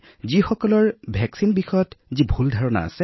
কিন্তু ৰোগৰ যি তীব্ৰতা সেয়া ৰোগীসকলৰ দেহত দেখা পোৱা নাযায়